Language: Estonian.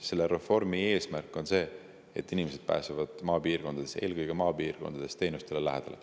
Selle reformi eesmärk on see, et inimesed pääseksid maapiirkondades, eelkõige maapiirkondades, teenustele lähedale.